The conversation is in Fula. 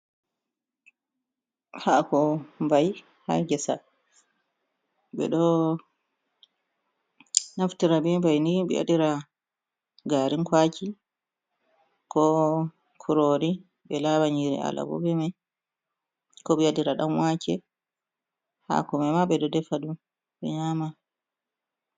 Hako mbai ha ngesa, ɓeɗo naftira be mai ni ɓe waɗira garin kwaki, ko kurori, be lawa nyiri alabo be mai, ko ɓe waɗira dan wake, hako me ma ɓe ɗo defa ɗum ɓe nyama.